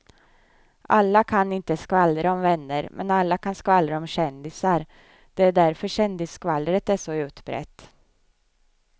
Alla kan inte skvallra om vänner men alla kan skvallra om kändisar, det är därför kändisskvallret är så utbrett.